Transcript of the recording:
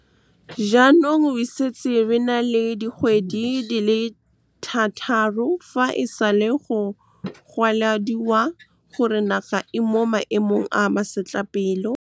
Jaanong re setse re na le dikgwedi di le thataro fa e sale go goelediwa gore naga e mo maemong a masetlapelo. Jaanong re setse re na le dikgwedi di le thataro fa e sale go goelediwa gore naga e mo maemong a masetlapelo.